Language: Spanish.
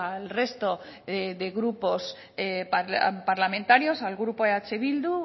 al resto de grupos parlamentarios al grupo eh bildu